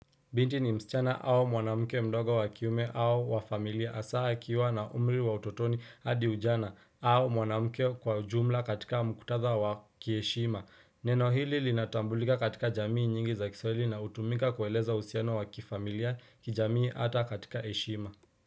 Binti ni msichana au mwanamuke mdogo wa kiume au wa familia hasa kiwa na umri wa utotoni hadi ujana au mwanamuke kwa jumla katika mkutatha wa kiheshima. Neno hili linatambulika katika jamii nyingi za kiswahili na hutumika kueleza uhusiano wa kifamilia kijamii hata katika heshima.